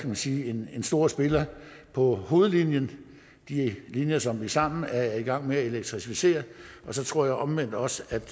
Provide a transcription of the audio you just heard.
man sige en stor spiller på hovedlinjerne de linjer som vi sammen er i gang med at elektrificere og så tror jeg omvendt også